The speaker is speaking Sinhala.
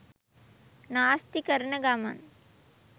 නාස්ති කරන ගමන්